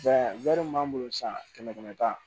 min b'an bolo san kɛmɛ kɛmɛ ta